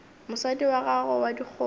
mosadi wa gago wa dikgomo